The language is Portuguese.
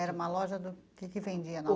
Era uma loja do... O que que vendia na